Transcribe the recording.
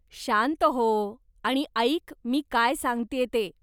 शांत हो आणि ऐक मी काय सांगतेय ते.